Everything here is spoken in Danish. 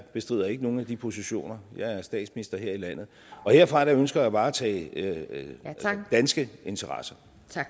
bestrider ikke nogen af de positioner jeg er statsminister her i landet og herfra ønsker jeg at varetage danske interesser